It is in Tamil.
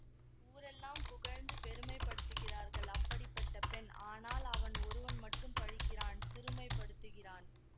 ஊரெல்லாம் புகழ்ந்து பெருமைப்படுத்துகிறார்கள் அப்படிப்பட்ட பெண் ஆனால் அவன் ஒருவன் மட்டும் பழிக்கிறான் சிறுமைப் படுத்துகிறான்